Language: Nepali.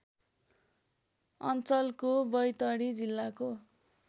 अञ्चलको बैतडी जिल्लाको